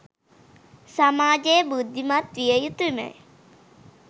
සමාජය බුද්ධිමත් විය යුතුමය